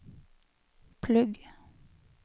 plugg